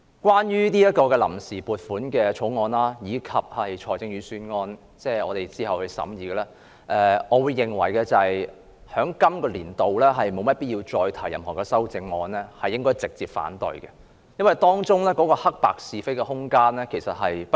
關於這項臨時撥款決議案，以及我們之後將會審議的財政預算案，我認為在本年度沒必要再提出任何修正案，而應該直接反對，因為當中的黑白是非無需辯論。